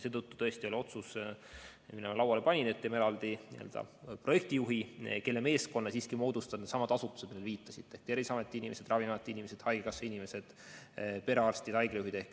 Seetõttu tõesti oli otsus, mille ma lauale panin, et teeme eraldi koha projektijuhile, kelle meeskonna siiski moodustavad needsamad asutused, millele te viitasite, ehk Terviseameti inimesed, Ravimiameti inimesed, haigekassa inimesed, perearstid, haiglajuhid.